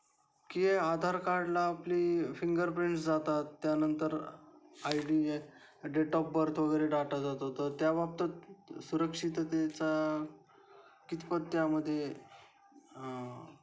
कि आधार कार्ड ला आपली फिंगर प्रिंट्स जातात त्या नंतर I D, date of birth वगैरे डाटा जातो तर त्या बाबतीत सुरक्षिततेचा कितपत त्या मध्ये अ..